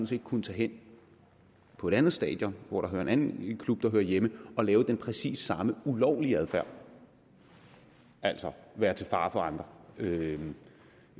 set kunnet tage hen på et andet stadion hvor en anden klub hører hjemme og have den præcis samme ulovlige adfærd altså være til fare for andre det